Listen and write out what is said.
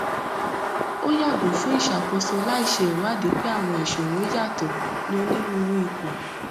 ó yàgò fún ìṣàkóso láì ṣe ìwádìí pé àwọn ìṣòro yàtọ ní onírúurú ipò